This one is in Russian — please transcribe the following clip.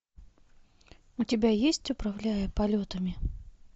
у тебя есть управляя полетами